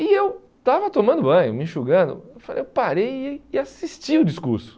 E eu estava tomando banho, me enxugando, eu falei parei e assisti o discurso.